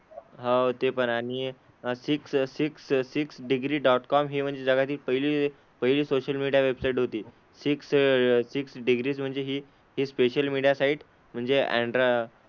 हो ते पण आहे आणि six six six degree dot com हि म्हणजे जगातील पहिली पहिली सोशल मीडिया वेबसाईट होती. सिक्स सिक्स डिग्रीज म्हणजे हि हि स्पेशल मीडिया साइट म्हणजे अँड्रा,